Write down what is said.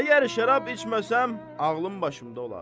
Əgər şərab içməsəm, ağlım başımda olar.